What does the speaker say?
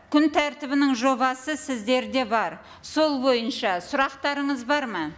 күн тәртібінің жобасы сіздерде бар сол бойынша сұрақтарыңыз бар ма